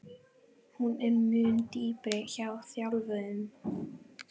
Hún er mun dýpri hjá þjálfuðum.